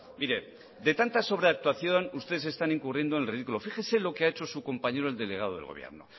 mire de tanta sobreactuación ustedes están incurriendo en el ridículo fíjese lo que ha hecho su compañero el delegado del gobierno